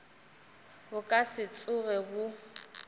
bo ka se tsoge bo